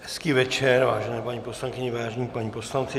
Hezký večer, vážené paní poslankyně, vážení páni poslanci.